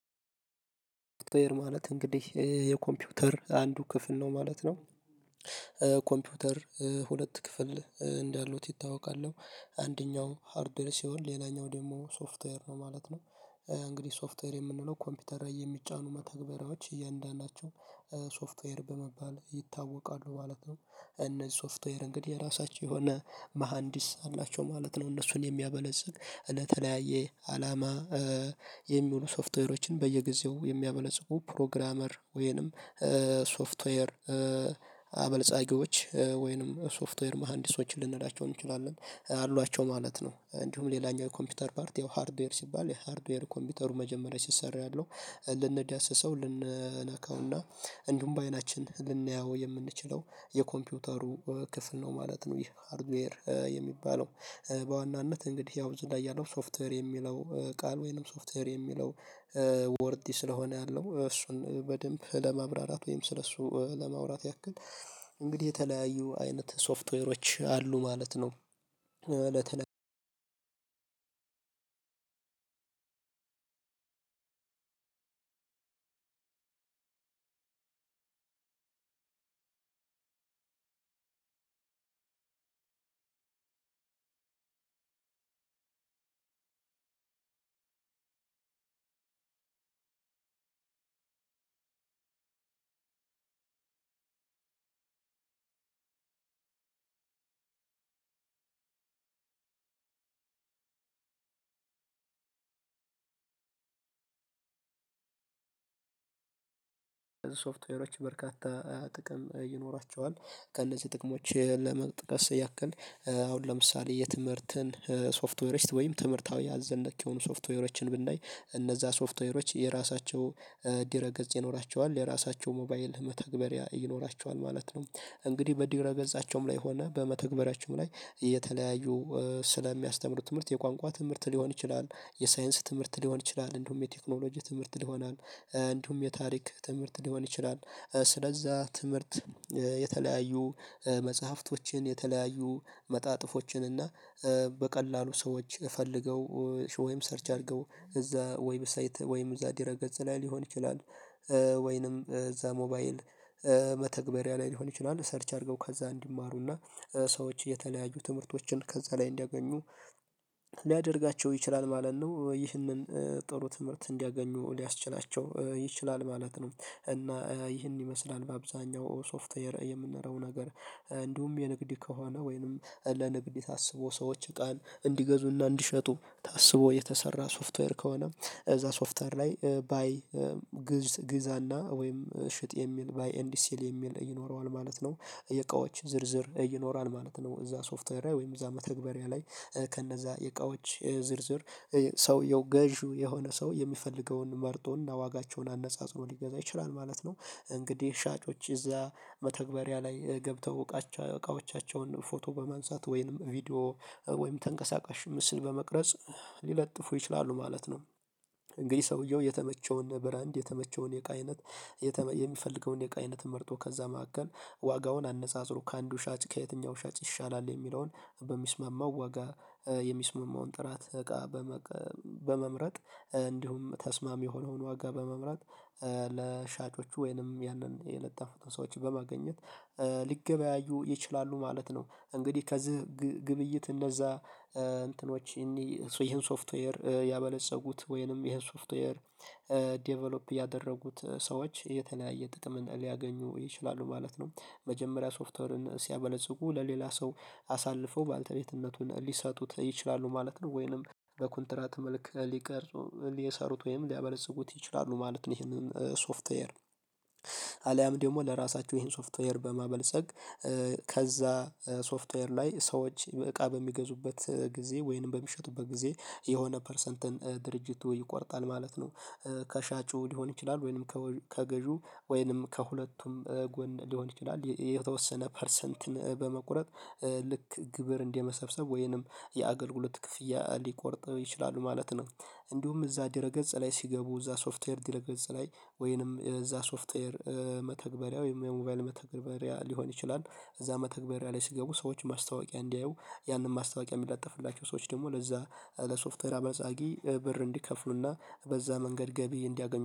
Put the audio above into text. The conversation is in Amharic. ማለት እንግዲህ የኮምፒውተር አንዱ ክፍል ነው ማለት ነው። ኮምፒውተር ሁለት ክፍል እንዳሉት ይታወቃል። አንደኛው ሃርድዌር ሲሆን ሌላኛው ደግሞ ሶፍትዌር ነው ማለት ነው። እንግዲህ ሶፍትዌር የምንለው ኮምፒውተር ላይ የሚጫኑ መተግበሪያዎች እያንዳንዳቸው ሶፍትዌር በመባል ይታወቃሉ ማለት ነው። እነዚህ ሶፍትዌር እንግዲህ የራሳቸው የሆነ መሃንዲስ አላቸው ማለት ነው እነሱን የሚያበለጽን እና ተለያየ አላማ የሚሉ ሶፍትዌሮችን በየጊዜው የሚያበለጽጉ ፕሮግራመር ወይንም ሶፍትዌር አበልጻጊዎች ወይንም ሶፍትዌር መሃንዲሶችን ልንላቸው እንችላለን አሏቸው ማለት ነው እንዲሁም ሌላኛው ኮምፒውተር ፓርት ያው ሃርድዌር ሲባል የሃርድዌር ኮምፒውተሩ መጀመሪያ ሲሰራ ያለው ልንዳሰሰው ልንነካውና እንዲሁም በአይናችን ልናየው የምንችለው የኮምፒውተሩ ክፍል ነው ማለት ነው ይህ ሃርድዌር የሚባለው። በዋናነት እንግዲህ ያው እዚህ ያለው ሶፍተር የሚለው ቃል ወይንም ሶፍትዌር የሚለው ወርድ ስለሆነ ያለው እሱን በደንብ ለማብራራት ወይም ስለሱ ለማውራት ያክል እንግዲህ የተለያዩ አይነት ሶፍትዌሮች አሉ ማለት ነው። አንድ አንድ አንድ አንድ፣ ሶፍትዌሮች በርካታ ጥቅም ይኖራቸዋል። ከእነዚህ ጥቅሞች ለመጥቀስ ያክል አሁን ለምሳሌ የትምህርትን ሶፍትዌሮች ወይም ትምህርታዊ አዘል ነክ የሆኑ ሶፍትዌሮችን ብናይ እነዛ ሶፍትዌሮች የራሳቸው ድረገጽ ይኖራቸዋል። የራሳቸው ሞባይል መተግበሪያ ይኖራቸዋል ማለት ነው። እንግዲህ በድረ ገጻቸውም ላይ ሆነ በመተግበሪያቸውም ላይ የተለያዩ ስለሚያስተምሩት ትምህርት የቋንቋ ትምህርት ሊሆን ይችላል፣ የሳይንስ ትምህርት ሊሆን ይችላል፣ እንደውም የቴክኖሎጂ ትምህርት ይሆናል። እንደውም የታሪክ ትምህርት ሊሆን ይችላል። ስለዛ ትምህርት የተለያዩ መጽሐፍቶችን፣ የተለያዩ መጣጥፎችን እና በቀላሉ ሰዎች ፈልገው ወይም ሰርች አድርገው እዛ ወይብሳይት ወይም እዛ ድረገጽ ላይ ሊሆን ይችላል። ወይንም እዛ ሞባይል መተግበሪያ ላይ ሊሆን ይችላል። ሰርች አድርገው ከዛ እንዲማሩና ሰዎች የተለያዩ ትምህርቶችን ከዛ ላይ እንዲያገኙ ሊያደርጋቸው ይችላል ማለት ነው። ይህንን ጥሩ ትምህርት እንዲያገኙ ሊያስችላቸው ይችላል ማለት ነው እና ይህን ይመስላል በአብዛኛው ሶፍትዌር የምንለው ነገር እንዲሁም የንግድ ከሆነ ወይንም ለንግድ ታስቦ ሰዎች ቃል እንዲገዙና እንዲሸጡ ታስቦ የተሰራ ሶፍትዌር ከሆነ እዛ ሶፍትዌር ላይ ባይ ግዛና ወይም ሽጥ የሚል ባይ ኤንድ ሲል የሚል ይኖረዋል ማለት ነው። የቃዎች ዝርዝር ይኖራል ማለት ነው። እዛ ሶፍትዌር ወይም እዛ መተግበሪያ ላይ ከእነዛ የእቃዎች ዝርዝር ሰውየው ገዢው የሆነ ሰው የሚፈልገውን መርጦና ዋጋቸውን አነጻጽሮ ሊገዛ ይችላል ማለት ነው። እንግዲህ ሻጮች እዛ መተግበሪያ ላይ ገብተው እቃዎቻቸውን ፎቶ በማንሳት ወይንም ቪዲዮ ወይንም ተንቀሳቃሽ ምስል በመቅረጽ ሊለጥፉ ይችላሉ ማለት ነው። እንግዲህ ሰውየው የተመቸውን ብራንድ፣ የተመቸውን የእቃ አይነት የሚፈልገውን የእቃ አይነት መርጦ ከዛ መካከል ዋጋውን አነጻጽሮ ከአንዱ ሻጭ ከየትኛው ሻጭ ይሻላል የሚለውን በሚስማማው ዋጋ የሚስማማውን ጥራት እቃ በመምረጥ እንዲሁም ተስማሚ የሆነውን ዋጋ በመምራት ለሻጮቹ ወይንም ያንን የለጠፉትን ሰዎችን በማግኘት ሊገበያዩ ይችላሉ ማለት ነው። እንግዲህ ከዚህ ግብይት እነዛ እንትኖች ይህን ሶፍትዌር ያበለፀጉት ወይንም ይሄን ሶፍትዌር ዴቨሎፕ ያደረጉት ሰዎች የተለያየ ጥቅም ሊያገኙ ይችላሉ ማለት ነው። መጀመሪያ ሶፍተሩን ሲያበለጽጉ ለሌላ ሰው አሳልፈው ባልተቤትነቱን ሊሰጡት ይችላሉ ማለት ነው ወይንም በኮንትራት መልክ ሊቀርጹ ሊየሰሩት ወይም ሊያበለጽጉት ይችላሉ ማለት ነው ይሄንን ሶፍትዌር አሊያም ደግሞ ለራሳችሁ ይሄን ሶፍትዌር በማበልጸግ ከዛ ሶፍትዌር ላይ ሰዎች እቃ በሚገዙበት ጊዜ ወይንም በሚሸጡበት ጊዜ የሆነ ፐርሰንትን ድርጅቱ ይቆርጣል ማለት ነው። ከሻጩ ሊሆን ይችላል ወይንም ከገዢው ወይንም ከሁለቱም ጎን ሊሆን ይችላል የተወሰነ ፐርሰንትን በመቁረጥ ልክ ግብር እንደመሰብሰብ ወይንም የአገልግሎት ክፍያ ሊቆርጠው ይችላሉ ማለት ነው እንዲሁም እዛ ድረ ገጽ ላይ ሲገቡ እዛ ሶፍትዌር ድረግጽ ላይ ወይንም እዛ ሶፍትዌር መተግበሪያው ወይንም የሞባይል መተግባሪያ ሊሆን ይችላል። እዛ መተግባሪያ ላይ ሲገቡ ሰዎች ማስታወቂያ እንዲያዩ ያንን ማስታወቂያ የሚለጠፍላቸው ሰዎች ደግሞ ለዛ ለሶፍተር አበልጻጊ ብር እንዲከፍሉና በዛ መንገድ ገቢ እንዲያገኙ